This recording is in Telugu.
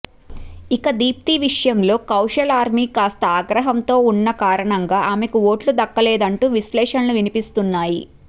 ఇక దీప్తి విషయంలో కౌశల్ ఆర్మీ కాస్త ఆగ్రహంతో ఉన్న కారణంగా ఆమెకు ఓట్లు దక్కలేదు అంటూ విశ్లేషణలు వినిపిస్తున్నాయి